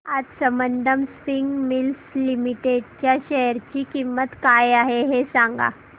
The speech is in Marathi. आज संबंधम स्पिनिंग मिल्स लिमिटेड च्या शेअर ची किंमत काय आहे हे सांगा